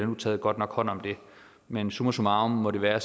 nu taget godt nok hånd om det men summa summarum må det være